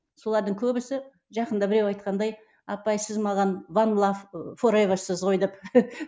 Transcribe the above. солардың көбісе жақында біреу айтқандай апай сіз маған ван лав форевасыз ғой деп